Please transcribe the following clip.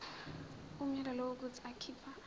umyalelo wokuthi akhipha